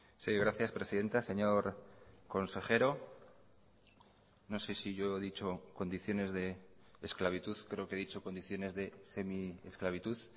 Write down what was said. sí gracias presidenta señor consejero no sé si yo he dicho condiciones de esclavitud creo que he dicho condiciones de semiesclavitud